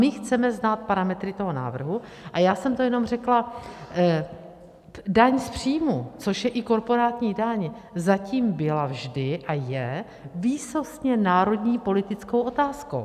My chceme znát parametry toho návrhu a já jsem to jenom řekla, daň z příjmu, což je i korporátní daň, zatím byla vždy a je výsostně národní politickou otázkou.